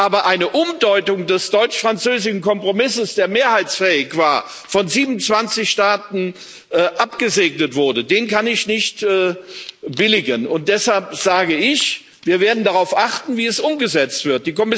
Aber eine Umdeutung des deutsch französischen Kompromisses, der mehrheitsfähig war und von 27 Staaten abgesegnet wurde, kann ich nicht billigen. Und deshalb sage ich Wir werden darauf achten, wie es umgesetzt wird.